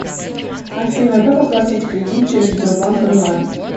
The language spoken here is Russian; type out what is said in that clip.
афина как оплатить кредит через сбербанк онлайн